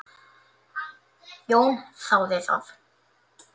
Jón þáði það.